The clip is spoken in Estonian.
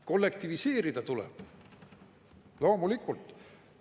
Kollektiviseerida tuleb, loomulikult.